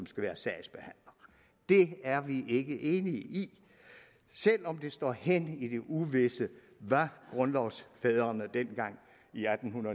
skal være sagsbehandler det er vi ikke enige i selv om det står hen i det uvisse hvad grundlovsfædrene dengang i atten